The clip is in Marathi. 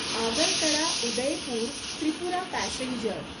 आगरतळा उदयपूर त्रिपुरा पॅसेंजर